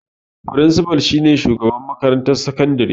Frincifal shi ne shugaban makarantar sakandare